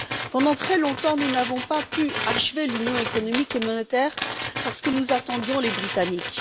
Pendant très longtemps, nous n'avons pas pu achever l'Union économique et monétaire parce que nous attendions les Britanniques.